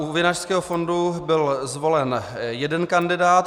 U Vinařského fondu byl zvolen jeden kandidát.